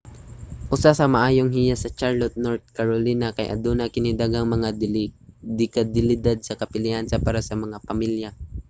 usa sa maayong hiyas sa charlotte north carolina kay aduna kini daghang mga de-kalidad nga kapilian para sa mga pamilya